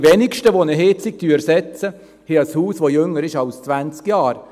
Die Wenigsten, die eine Heizung ersetzen, haben ein Haus, das jünger als zwanzig Jahre ist.